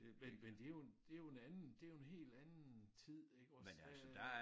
Men men det jo en det jo en anden det jo en helt anden tid iggås øh